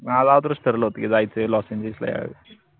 माझं अगोदरच ठरलं होत की जायचंय लॉस एंजिल्सला